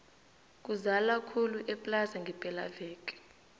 kuzala khulu eplaza ngepela veke